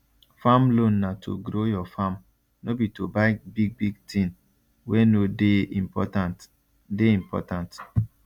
farm loan na to grow your farm no be to buy bigbig thing wey no dey important dey important